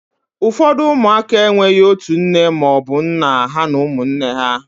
ụfọdụ ụmụaka enweghị otu nne ma ọ bụ nna ha na ụmụnne ha